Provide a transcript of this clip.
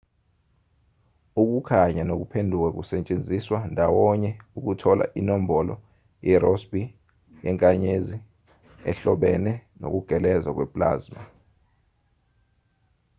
ukukhanya nokuphenduka kusetshenziswa ndawonye ukuthola inombolo yerossby yenkanyezi ehlobene nokugeleza kwe-plasma